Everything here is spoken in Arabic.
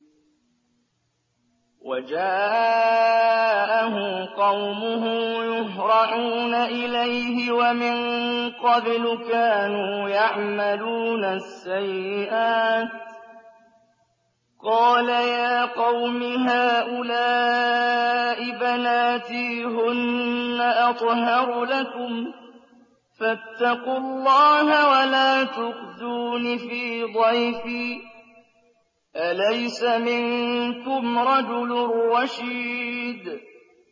وَجَاءَهُ قَوْمُهُ يُهْرَعُونَ إِلَيْهِ وَمِن قَبْلُ كَانُوا يَعْمَلُونَ السَّيِّئَاتِ ۚ قَالَ يَا قَوْمِ هَٰؤُلَاءِ بَنَاتِي هُنَّ أَطْهَرُ لَكُمْ ۖ فَاتَّقُوا اللَّهَ وَلَا تُخْزُونِ فِي ضَيْفِي ۖ أَلَيْسَ مِنكُمْ رَجُلٌ رَّشِيدٌ